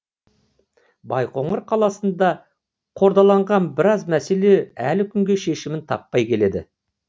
байқоңыр қаласында қордаланған біраз мәселе әлі күнге шешімін таппай келеді